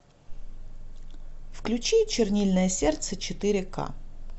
включи чернильное сердце четыре ка